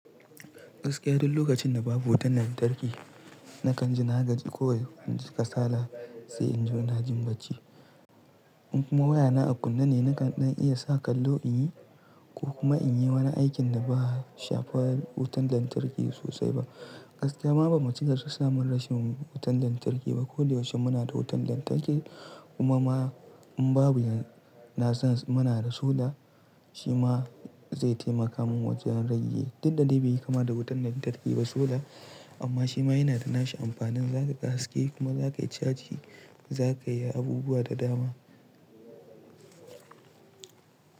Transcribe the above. Gaskiya duk lokacin da babu wutan lantarki nakan ji na gaji. Ko inji ka sala sai in ji na jin bacci. In kuma wayana a kunne ne nakan iya sa kallo in yi ko kuma in yi wani aikin da ba shafar wutan lantarki sosai ba. Gaskiya ma ba mu cika su samun rashin wutan lantarki ba. Ko da yaushe muna da wutan lantarki kuma ma in babu na san muna da solar shima zai taimaka min wajen rage duk da dai bai yi kama da wutan lantarki ba solar amma shi ma yana da nashi amfanin. Zaka kashe kuma zaka yi caji, za ka yi abubuwa da dama.